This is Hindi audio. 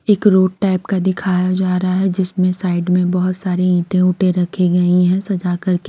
एक रोड टाइप का दिखाया जा रहा है जिसमें साइड में बहुत सारी ईंटे ऊंटे रखी गई हैं सजा कर--